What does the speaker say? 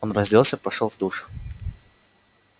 он разделся пошёл в душ